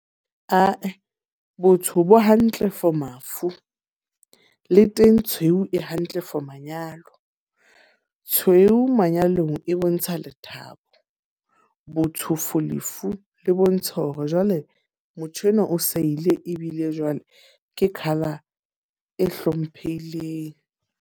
Ah-eh, botsho bo hantle for mafu. Le teng tshweu e hantle for manyalo. Tshweu manyalong e bontsha lethabo. Botsho for lefu, le bontsha hore jwale motho enwa o sa ile ebile jwale ke colour e hlomphehileng.